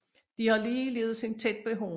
De har ligeledes en tæt behåring